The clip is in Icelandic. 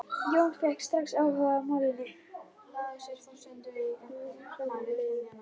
Jón fékk strax áhuga á málinu.